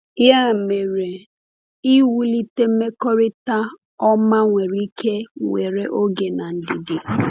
Ya mere, iwulite mmekọrịta ọma nwere ike were oge na ndidi.